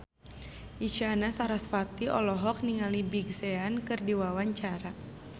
Isyana Sarasvati olohok ningali Big Sean keur diwawancara